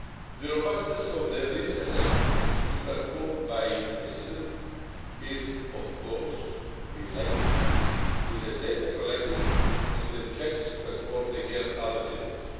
The robustness of the risk assessments to be performed by the system is, of course, related to the data collected and to the checks performed against other systems.